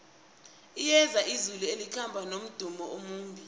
liyeza izulu elikhamba nomdumo omumbi